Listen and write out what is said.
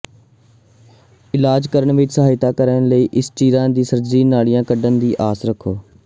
ਇਲਾਜ ਕਰਨ ਵਿੱਚ ਸਹਾਇਤਾ ਕਰਨ ਲਈ ਇਸ ਚੀਰਾ ਵਿੱਚ ਸਰਜਰੀ ਨਾਲੀਆਂ ਕੱਢਣ ਦੀ ਆਸ ਰੱਖੋ